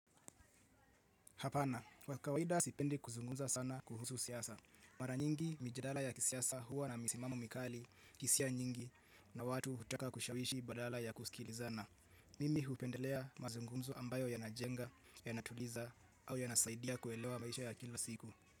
Hapana, kwa kawaida sipendi kuzungumza sana kuhusu siyasa. Mara nyingi mijadala ya kisiyasa huwa na misimamo mikali, hisia nyingi na watu hutaka kushawishi badala ya kusikilizana. Mimi hupendelea mazungunzo ambayo yanajenga, yanatuliza au yanasaidia kuelewa maisha ya kila siku.